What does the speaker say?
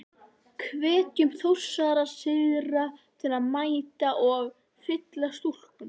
Hvetjum Þórsara syðra til að mæta og. fylla stúkuna?